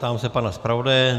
Ptám se pana zpravodaje.